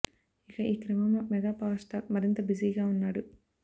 ఇక ఈ క్రమంలో మెగా పవర్ స్టార్ మరింత బిజీగా ఉన్నాడు